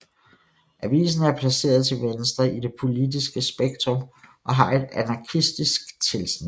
Avisen er placeret til venstre i det politiske spektrum og har et anarkistisk tilsnit